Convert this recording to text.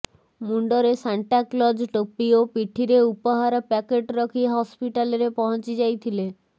ମୁଣ୍ଡରେ Santa Claus ଟୋପି ଓ ପିଠିରେ ଉପହାର ପ୍ୟାକେଟ ରଖି ହସ୍ପିଟାଲରେ ପହଞ୍ଚି ଯାଇଥିଲେ